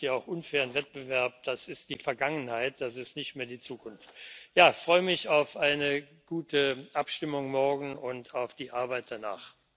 Das schafft ja auch unfairen Wettbewerb, das ist die Vergangenheit, das ist nicht mehr die Zukunft. Ich freue mich auf eine gute Abstimmung morgen und auf die Arbeit danach.